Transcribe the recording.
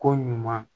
Ko ɲuman